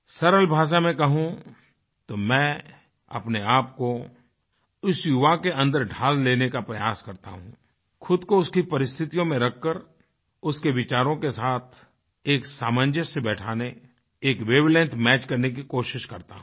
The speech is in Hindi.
सरल भाषा में कहूँ तो मैं अपने आप को उस युवा के अन्दर ढाल लेने का प्रयास करता हूँ खुद को उसकी परिस्थितियों में रखकर उसके विचारों के साथ एक सामंजस्य बैठाने एक वेव लेंग्थ मैच करने की कोशिश करता हूँ